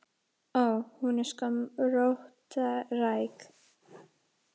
Ó. Hún er sko róttæk.